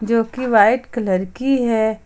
जोकि white colour की है।